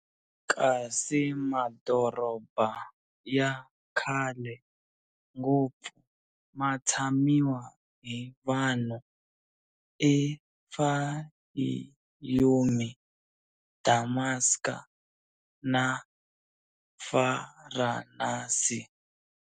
Kasi madorobha yakhale ngopfu matshamiwa hi vanhu, i Fayiyumi, Damaska, na Varanasi.